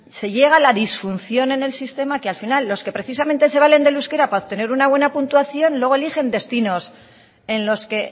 se llega a la disfunción en el sistema que al final los que precisamente se valen del euskera para obtener una buena puntuación luego eligen destinos en los que